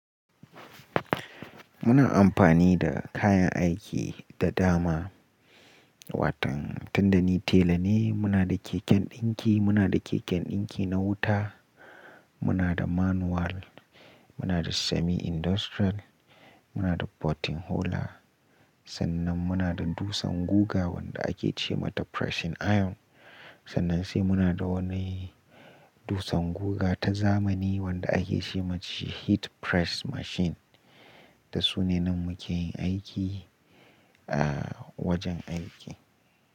Muna amfani da kayan aiki da dama. Watan tun da ni tela ne, muna da keken ɗinki, muna da keken ɗinki na wuta, muna da manual, muna da semi-industrial, muna da potting holer. Sannan muna da dusan guga wanda ake ce mata pressing iron. Sannan sai muna da wani dusan guga ta zamani wanda ake ce mata heat press machine. Da su ne nan muke yin aiki a wajen aiki.